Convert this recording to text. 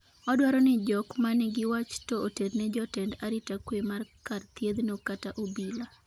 odwaro ni jok manigi wach to oterne jotend arita kwe mar kar thieth no kata obila